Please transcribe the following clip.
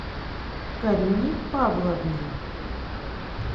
карине павловне